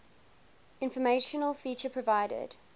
informational feature provided